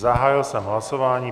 Zahájil jsem hlasování.